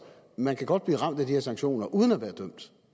man kan godt blive ramt af de her sanktioner uden at være dømt